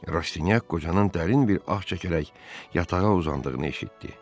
Rastinyak qocanın dərin bir ah çəkərək yatağa uzandığını eşitdi.